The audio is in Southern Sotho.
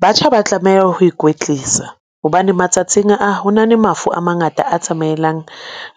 Batjha ba tlameha ho ikwetlisa hobane matsatsing a, hona le mafu a mangata a tsamaelang